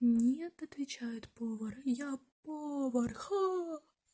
нет отвечает повар я повар ха